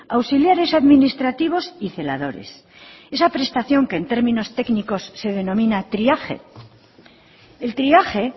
auxiliares administrativos y celadores esa prestación que es términos técnicos se denomina triaje el triaje